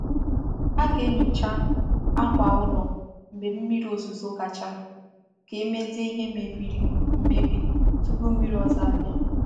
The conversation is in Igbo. A ga-enyocha akwa ụlọ mgbe mmiri ozuzo gachara ka emezie ihe mebiri mmebi tupu mmiri ọzọ bia.